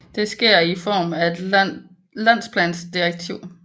Det sker i form af et landsplandirektiv